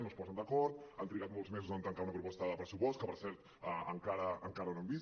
no es posen d’acord han trigat molts mesos a tancar una proposta de pressupost que per cert encara no hem vist